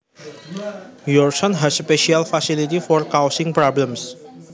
Your son has a special facility for causing problems